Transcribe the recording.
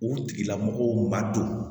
O tigilamɔgɔw ma don